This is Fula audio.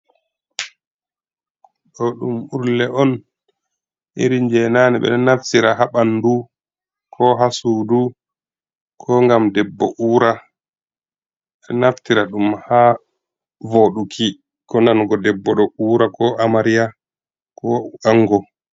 Ɗo ɗom urle on. Irin je nane. Be naftira ha banɗu ko ha suɗu ko gam ɗebbo ura. Be naftira ɗum ha voɗuki, ko nango ɗebbo ɗo ura ko amaria ko ango.